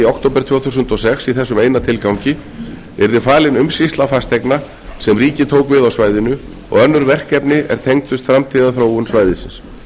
október tvö þúsund og sex í þessum eina tilgangi yrði falin umsýsla fasteigna sem ríkið tók við á svæðinu og önnur verkefni er tengdust framtíðarþróun svæðisins